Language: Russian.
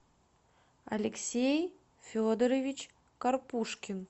алексей федорович карпушкин